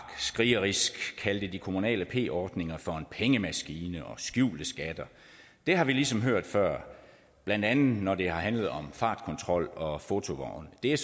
krigerisk kaldte de kommunale p ordninger for en pengemaskine og skjulte skatter det har vi ligesom hørt før blandt andet når det har handlet om fartkontrol og fotovogne det